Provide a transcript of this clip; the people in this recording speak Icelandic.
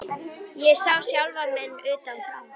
Ég sá sjálfa mig utan frá.